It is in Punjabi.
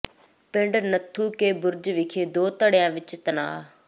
ਪਿੰਡ ਨੱਥੂ ਕੇ ਬੁਰਜ ਵਿਖੇ ਦੋ ਧੜਿਆਂ ਵਿੱਚ ਤਣਾਅ